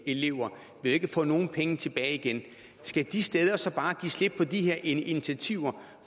elever ikke få nogen penge tilbage igen skal de steder så bare give slip på de her initiativer